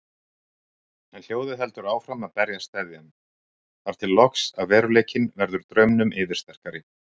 En hljóðið heldur áfram að berja steðjann, þar til loks að veruleikinn verður draumnum yfirsterkari.